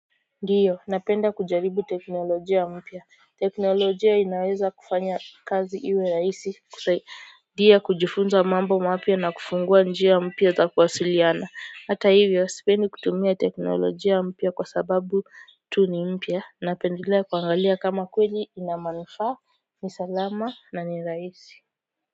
Ndiyo, napenda kujaribu teknolojia mpya. Teknolojia inaweza kufanya kazi iwe rahisi kusaidia kujifunza mambo mapya na kufungua njia mpya za kuwasiliana. Hata hivyo, sipendi kutumia teknolojia mpya kwa sababu tu ni mpya. Napendelea kuangalia kama kweli ina manufaa, ni salama na ni rahisi.